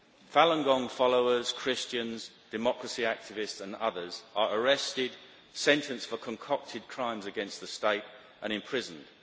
Falun Gong followers, Christians, democracy activists and others are arrested, sentenced for concocted crimes against the State and imprisoned.